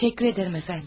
Təşəkkür edirəm, əfəndim.